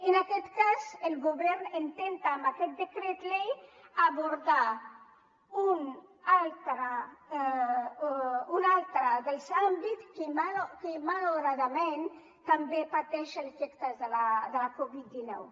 en aquest cas el govern intenta amb aquest decret llei abordar un altre dels àmbits que malauradament també pateix els efectes de la covid dinou